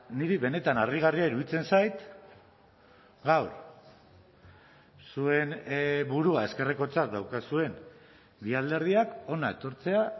niri benetan harrigarria iruditzen zait gaur zuen burua ezkerrekotzat daukazuen bi alderdiak hona etortzea